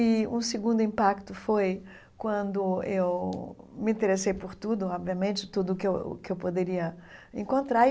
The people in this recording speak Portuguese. E um segundo impacto foi quando eu me interessei por tudo, obviamente, tudo o que eu que eu poderia encontrar.